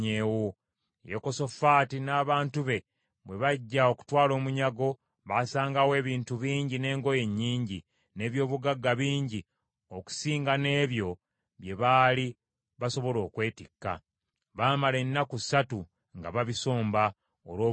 Yekosafaati n’abantu be bwe bajja okutwala omunyago, basangawo ebintu bingi n’engoye nnyingi, n’eby’obugagga bingi, okusinga n’ebyo bye baali basobola okwetikka. Baamala ennaku ssatu nga babisomba, olw’obungi bwabyo.